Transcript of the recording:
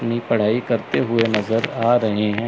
मी पढ़ाई करते हुए नजर आ रहे है।